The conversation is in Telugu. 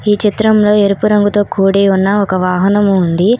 ఈ చిత్రంలో ఎరుపు రంగుతో కూడి ఉన్న ఒక వాహనం ఉంది